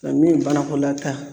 Ka min banakolataa